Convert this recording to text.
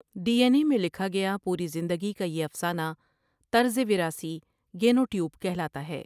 D N A میں لکھا گیا پوری زندگی کا یہ افسانہ طرز وراثی گینوٹیوپ کہلاتا ہے ۔